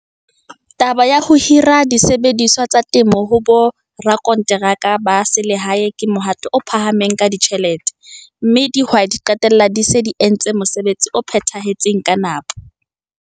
Taba ya ho hira disebediswa tsa temo ho borakonteraka ba selehae ke mohato o phahameng ka ditjhelete, mme dihwai di qetella di sa etse mosebetsi o phethahetseng ka nepo.